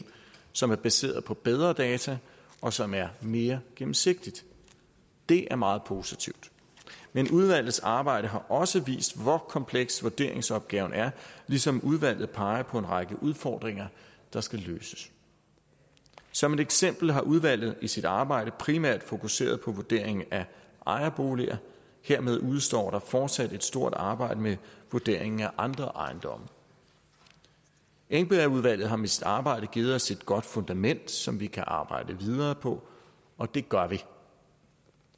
som er baseret på bedre data og som er mere gennemsigtigt det er meget positivt men udvalgets arbejde har også vist hvor kompleks vurderingsopgaven er ligesom udvalget peger på en række udfordringer der skal løses som et eksempel har udvalget i sit arbejde primært fokuseret på vurderingen af ejerboliger og hermed udestår der fortsat et stort arbejde med vurderingen af andre ejendomme engbergudvalget har med sit arbejde givet os et godt fundament som vi kan arbejde videre på og det gør vi